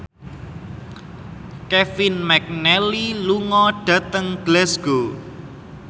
Kevin McNally lunga dhateng Glasgow